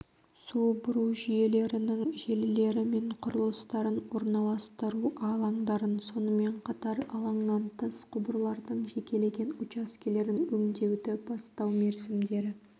су бұру жүйелерінің желілері мен құрылыстарын орналастыру алаңдарын сонымен қатар алаңнан тыс құбырлардың жекелеген учаскелерін өңдеуді бастау мерзімдері